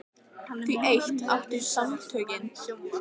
Því eitt áttu Samtökin í Rauða húsinu sameiginlegt með dýrasafni